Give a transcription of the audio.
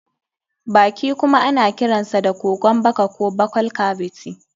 Baki kuma ana kiransa da kogon baka ko buccal cavity.